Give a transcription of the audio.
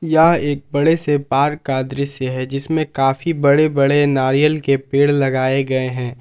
यह एक बड़े से बाग का दृश्य है जिसमें काफी बड़े बड़े नारियल के पेड़ लगाए गए हैं।